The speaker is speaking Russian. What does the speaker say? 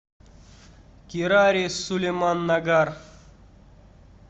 кирари сулеман нагар